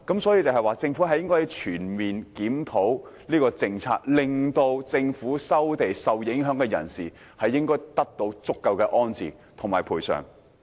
所以，政府應全面檢討這項政策，令受收地影響人士得到安置和足夠賠償。